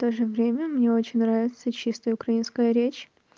тоже время мне очень нравится чистая украинская речь